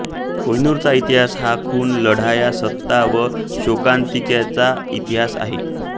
कोहिनूरचा इतिहास हा खून लढाया सत्ता व शोकांतिकांचा इतिहास आहे